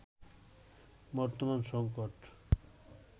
বর্তমান সংকট